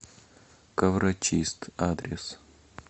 коврочист адрес